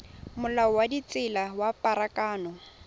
molao wa ditsela wa pharakano